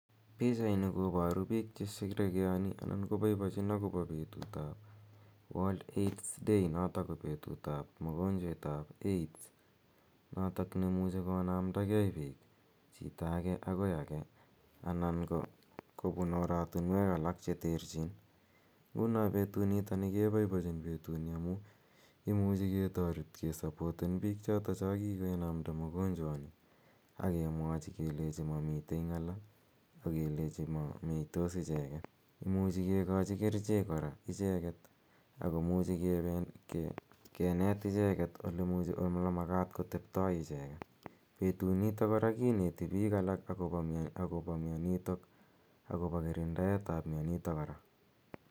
Pichani koparu piik che sherekeani anan konpaipachin akopa petut ap World Aids day notok ko petut ap mogonchwet ap AIDS notok ne imuchi konamdagei piik, chito age agoi age anan ko kopun oratunwek alak che terchin. Nguno petunitani ke paipachin petini amu imuchi ketaret kesapoten piik chotocho kikenamda mogonchwani ak kelenchi mamitei ng'ala ak kelchi ma meitos icheget. Imuchi kikachi kerichek kora icheget ak komuchi kenet icheget ole makat koteptai icheget. Petunitok kora kineti akopa mianitok akopa kirindaet ap mianitok kora.